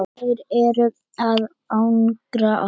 Þeir eru að angra okkur.